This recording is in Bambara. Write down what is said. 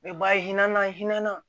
U bɛ bayi hinɛ naaninan